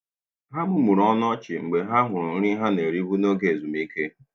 Ha mumuru ọnụ ọchị mgbe ha hụrụ nri ha na-eribu n'oge ezumike.